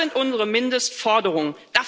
Das sind unsere Mindestforderungen.